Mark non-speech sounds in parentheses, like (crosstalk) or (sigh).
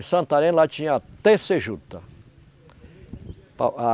Em Santarém, lá tinha (unintelligible) juta. (unintelligible)